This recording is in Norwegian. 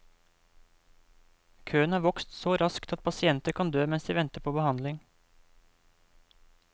Køen har vokst så raskt at pasienter kan dø mens de venter på behandling.